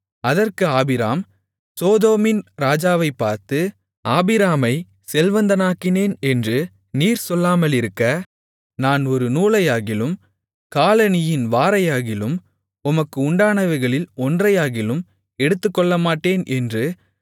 அதற்கு ஆபிராம் சோதோமின் ராஜாவைப் பார்த்து ஆபிராமை செல்வந்தனாக்கினேன் என்று நீர் சொல்லாமலிருக்க நான் ஒரு நூலையாகிலும் காலணியின் வாரையாகிலும் உமக்கு உண்டானவைகளில் ஒன்றையாகிலும் எடுத்துக்கொள்ளமாட்டேன் என்று